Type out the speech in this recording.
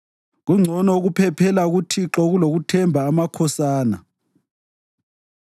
Kungcono ukuphephela kuThixo kulokuthemba amakhosana.